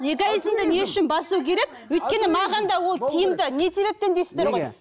эгоизмді не үшін басу керек өйткені маған да ол тиімді не себептен дейсіздер ғой